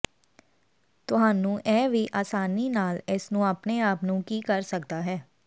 ਤੁਹਾਨੂੰ ਇਹ ਵੀ ਆਸਾਨੀ ਨਾਲ ਇਸ ਨੂੰ ਆਪਣੇ ਆਪ ਨੂੰ ਕੀ ਕਰ ਸਕਦਾ ਹੈ